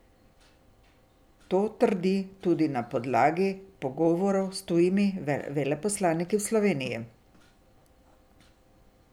To trdi tudi na podlagi pogovorov s tujimi veleposlaniki v Sloveniji.